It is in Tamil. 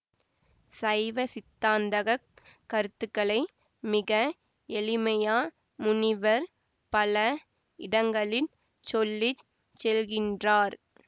சைவசித்தாந்தக் கருத்துக்களை மிக எளிமையா முனிவர் பல இடங்களிற் சொல்லி செல்கின்றார்